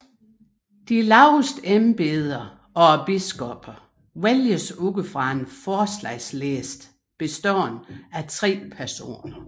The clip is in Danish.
De laveste embeder og biskopperne vælges ud fra en forslagsliste bestående af tre personer